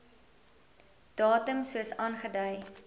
datum soos aangedui